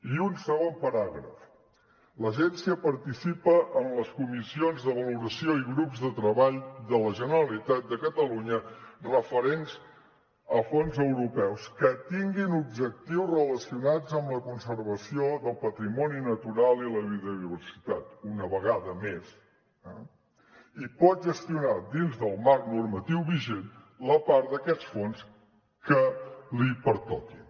i un segon paràgraf l’agència participa en les comissions de valoració i grups de treball de la generalitat de catalunya referents a fons europeus que tinguin objectius relacionats amb la conservació del patrimoni natural i la biodiversitat una vegada més eh i pot gestionar dins del marc normatiu vigent la part d’aquests fons que li pertoqui